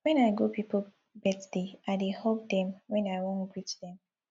wen i go pipo birthday i dey hug dem wen i wan greet dem